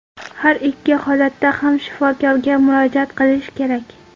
Har ikki holatda ham shifokorga murojaat qilish kerak.